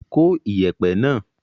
Kó ìyẹ̀pẹ̀ náà.